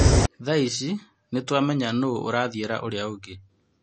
Thaici nĩtũamenya nũũ ũrathiĩra ũrĩa ũngĩ."